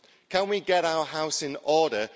Can we get our house in order?